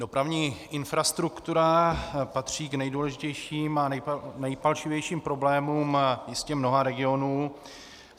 Dopravní infrastruktura patří k nejdůležitějším a nejpalčivějším problémům jistě mnoha regionů.